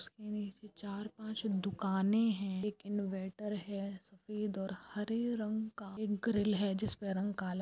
चार पांच दुकानें हैं इनवर्टर है स्पीड और हरे रंग का ग्रिल है जिस पर रंग काला चार पांच दुकानें हैं इनवर्टर है स्पीड और हरे रंग का ग्रिल है